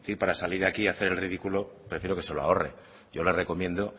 para salir aquí a hacer el ridículo prefiero que se lo ahorre yo le recomiendo